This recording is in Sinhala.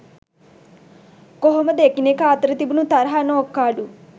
කොහොමද එකිනෙකා අතර තිබුණු තරහ නෝක්කාඩු